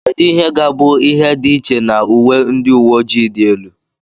kedu ihe ga-abụ ihe dị iche na uwe ndị uwe ojii dị elu